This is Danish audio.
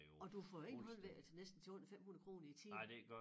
Og du får jo ikke noget ved det til næsten til under 500 kroner i æ time